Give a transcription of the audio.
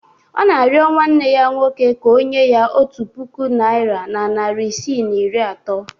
Ọ na-arịọ nwanne ya nwoke ka o nye ya otu puku naira na narị isii na iri atọ